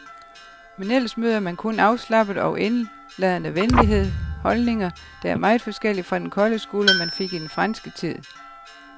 Men ellers møder man kun afslappet og indladende venlighed, holdninger, der er meget forskellige fra den kolde skulder, man fik i den franske tid.